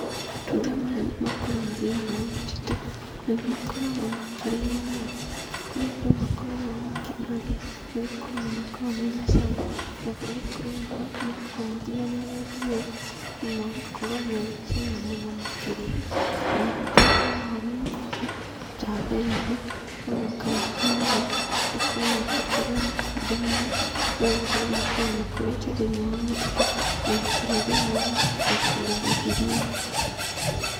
Matunda maya nĩmakũraga thĩinĩ wa mũtitũ. Nĩmakoragwo makĩrĩo nĩ andũ, kũrĩa andũ makoragwo makĩmarĩa, nĩgũkorwo nĩmakoragwo mena cama, na marĩ kwĩruha, makoragwo mahana rendi ũũ, namagakorwo mena cama mũno makĩria nanĩmarĩagwo oho nĩnyamũ, ta therũ, onakana tũnũgũ, nĩtũkoragwo tũkĩrĩa matunda maya, nĩgũkorwo makoragwo makũrĩte thĩinĩ wa mũtitũ, ona kana thĩinĩ wa mũgũnda kũrĩa rũgiri-inĩ.